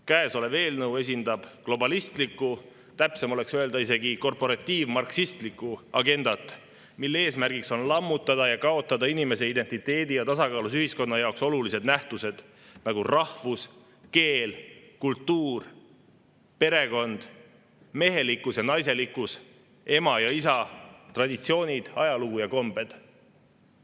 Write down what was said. Käesolev eelnõu esindab globalistlikku, täpsem oleks öelda isegi, et korporatiiv-marksistlikku agendat, mille eesmärk on lammutada ja kaotada inimese identiteedi ja tasakaalus ühiskonna jaoks olulised nähtused, nagu rahvus, keel, kultuur, perekond, mehelikkus ja naiselikkus, ema ja isa, traditsioonid, ajalugu ja kombed.